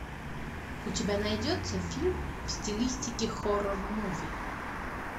у тебя найдется фильм в стилистике хоррор муви